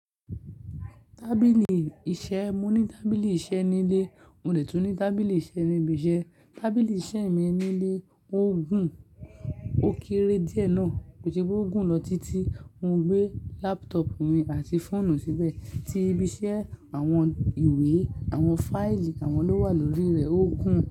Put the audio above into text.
Tábìlì iṣẹ́, mo ní tábìlì iṣẹ́ nílé, mo lè tún ní tábìlì iṣẹ́ ní ibi iṣẹ́. Tábìlì iṣẹ́ mi nílé ó gùn, ó kéré díẹ̀ náà, kó se pé ó gùn lọ títí, mo gbé laptop mi àti fóònù síbẹ̀, tí ibi iṣẹ́, àwọn ìwé, àwọn fáílì àwọn ló wà lórí rẹ̀ ó gún.